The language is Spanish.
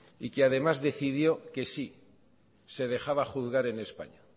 y que además decidió que sí se dejaba juzgar en españa